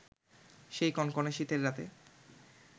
সেই কনকনে শীতের রাতে